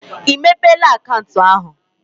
I mepela akaụntụ ahụ?